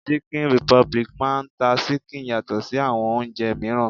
Chicken republic máà ń ta ṣíkìn yàtọ̀ sí àwọn oúnjẹ mìíràn.